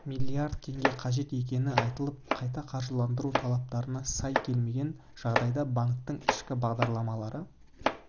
миллиард теңге қажет екені айтылып қайта қаржыландыру талаптарына сай келмеген жағдайда банктің ішкі бағдарламалары